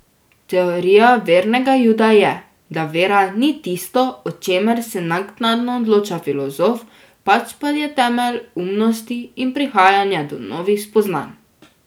Teorija vernega Juda je, da vera ni tisto, o čemer se naknadno odloča filozof, pač pa je temelj umnosti in prihajanja do novih spoznanj.